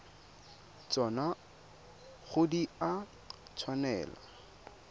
tsona ga di a tshwanela